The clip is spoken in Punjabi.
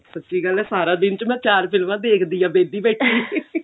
ਸੱਚੀ ਗੱਲ ਆ ਮੈਂ ਚਾਰ ਫਿਲਮਾਂ ਦੇਖਦੀ ਆ ਵਿਹਲੀ ਬੈਠੀ